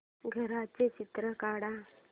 घराचं चित्र काढ